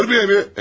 Məni görməyəmi?